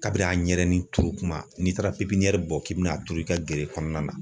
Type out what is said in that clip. Kabiri a ɲɛrɛni turu kuma n'i taara pipiɲɛri bɔ k'i bin'a turu i ka gere kɔnɔna na